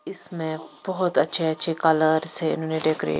इसमें बहुत अच्छे-अच्छे कलर से।